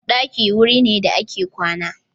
Ɗakin wuri ne da ake kwana.